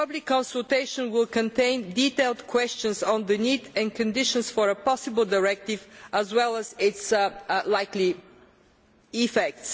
The public consultation will contain detailed questions on the need and conditions for a possible directive, as well as its likely effects.